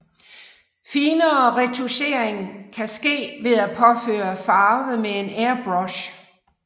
Finere retouchering kan ske ved at påføre farve med en airbrush